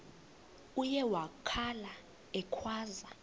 uye wakhala ekhwaza